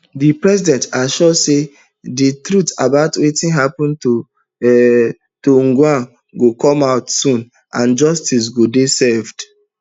di president assure say di truth about wetin really happun um to ojwang go come out soon and justice go dey served